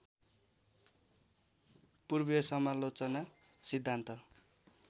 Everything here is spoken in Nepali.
पूर्वीय समालोचना सिद्धान्त